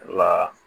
Wa